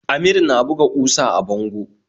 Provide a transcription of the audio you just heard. Amir na buga kusa a bango